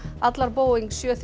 allar Boeing sjö